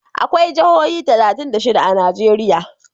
akwai Jihohi talatin da shida a Najeriya